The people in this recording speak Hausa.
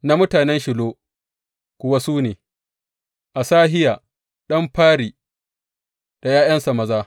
Na mutanen Shilo kuwa su ne, Asahiya ɗan fari da ’ya’yansa maza.